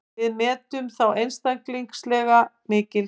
Við metum þá einstaklega mikils.